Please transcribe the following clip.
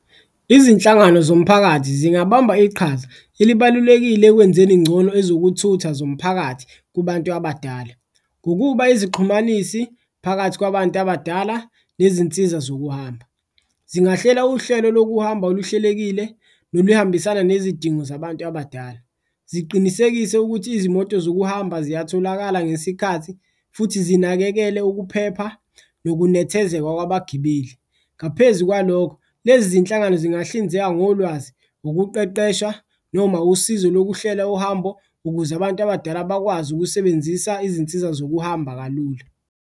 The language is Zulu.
Izinhlangano zomphakathi zingabamba iqhaza elibalulekile ekwenzeni ngcono ezokuthutha zomphakathi kubantu abadala, ngokuba izixhumanisi phakathi kwabantu abadala nezinsiza zokuhamba. Zingahlela uhlelo lokuhamba oluhlelekile noluhambisana nezidingo zabantu abadala, ziqinisekise ukuthi izimoto zokuhamba ziyatholakala ngesikhathi futhi zinakekele ukuphepha nokunethezeka kwabagibeli. Ngaphezu kwalokho, lezi zinhlangano zingahlinzeka ngolwazi, ukuqeqesha noma usizo lokuhlela uhambo ukuze abantu abadala bakwazi ukusebenzisa izinsiza zokuhamba kalula.